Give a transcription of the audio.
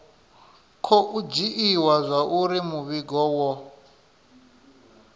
khou dzhiiwa zwauri muvhigo wo